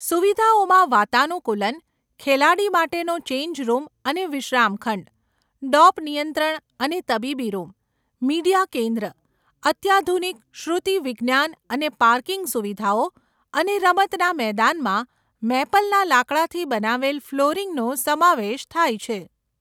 સુવિધાઓમાં વાતાનુકૂલન, ખેલાડી માટેનો ચેન્જ રૂમ અને વિશ્રામખંડ, ડોપ નિયંત્રણ અને તબીબી રૂમ, મીડિયા કેન્દ્ર, અત્યાધુનિક શ્રુતિવિજ્ઞાન અને પાર્કિંગ સુવિધાઓ અને રમતના મેદાનમાં મેપલના લાકડાથી બનાવેલ ફ્લોરિંગનો સમાવેશ થાય છે.